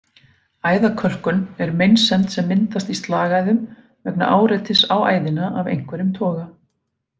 Æðakölkun er meinsemd sem myndast í slagæðum vegna áreitis á æðina af einhverjum toga.